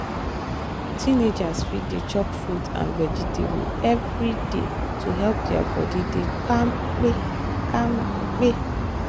teenagers fit dey chop fruit and vegetables every day to help their body dey kampe. kampe.